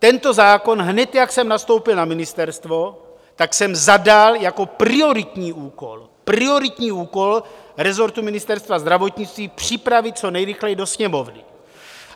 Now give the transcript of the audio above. Tento zákon, hned jak jsem nastoupil na ministerstvo, tak jsem zadal jako prioritní úkol, prioritní úkol resortu Ministerstva zdravotnictví, připravit co nejrychleji do Sněmovny.